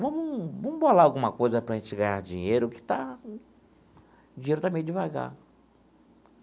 Vamos vamos bolar alguma coisa para a gente ganhar dinheiro, que está...o dinheiro está meio devagar.